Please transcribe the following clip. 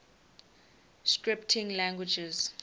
scripting languages